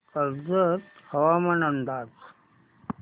कर्जत हवामान अंदाज